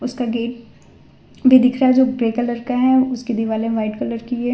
उसका गेट भी दिख रहा जो ग्रे कलर का है उसकी दिवाले व्हाइट कलर की है।